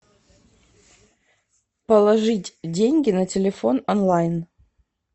положить деньги на телефон онлайн